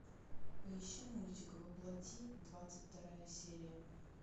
поищи мультик во плоти двадцать вторая серия